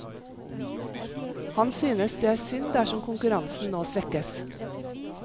Han synes det er synd dersom konkurransen nå svekkes.